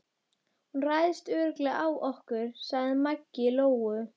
Hún ræðst örugglega á okkur, sagði Maggi Lóu.